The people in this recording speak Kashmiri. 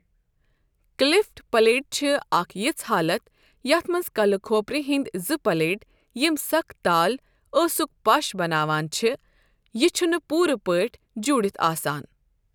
کلیفٹ پیلیٹ چھِ اکھ یِژھ حالت یَتھ منٛز کَلہٕ کھۄپرِ ہندۍ زٕ پلیٹ یِم سخت تال ٲسُک پش بناوان چھِ یہٕ چُھنہٕ پوُرٕ پٲٹھۍ جُوڈتھ آسان ۔